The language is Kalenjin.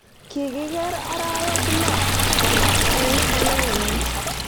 Kikiger arawek lo koma eng chamenyin.